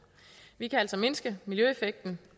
vi kan altså mindske miljøeffekten